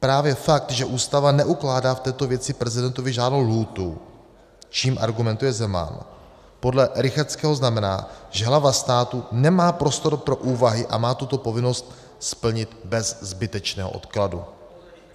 Právě fakt, že Ústava neukládá v této věci prezidentovi žádnou lhůtu, čím argumentuje Zeman, podle Rychetského znamená, že hlava státu nemá prostor pro úvahy a má tuto povinnost splnit bez zbytečného odkladu.